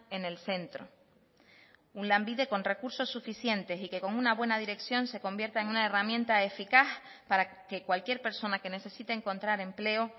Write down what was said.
en el centro un lanbide con recursos suficientes y que con una buena dirección se convierta en una herramienta eficaz para que cualquier persona que necesite encontrar empleo